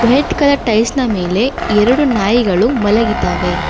White colour tiles ನ ಮೇಲೆ ಎರಡು ನಾಯಿಗಳು ಮಲಗಿದವೆ.